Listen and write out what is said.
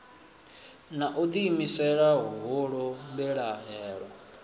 na u ḓiimisela huhulu mbilahelo